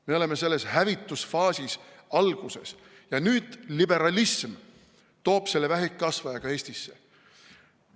Me oleme selle hävitusfaasi alguses ja nüüd liberalism toob selle vähkkasvaja ka Eestisse.